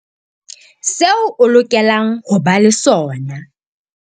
Seo o lokelang ho ba le sona.